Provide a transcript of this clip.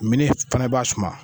Mini fana b'a suma